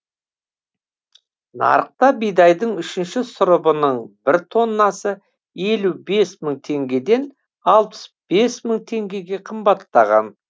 нарықта бидайдың үшінші сұрыбының бір тоннасы елу бес мың теңгеден алпыс бес мың теңгеге қымбаттаған